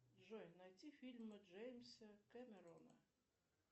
джой найти фильмы джеймса кэмерона